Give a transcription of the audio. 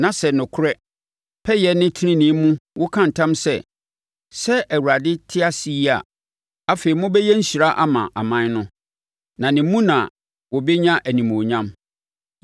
na sɛ, nokorɛ, pɛyɛ ne tenenee mu woka ntam sɛ, ‘Sɛ Awurade te ase yi,’ a afei mobɛyɛ nhyira ama aman no na ne mu na wɔbɛnya animuonyam.”